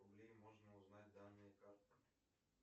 можно узнать данные карты